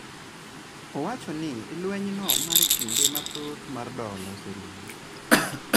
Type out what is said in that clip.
Owacho ni lwenjno mar kinde mathoth mar dola oserumo